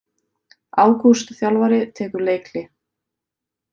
Ágúst þjálfari tekur leikhlé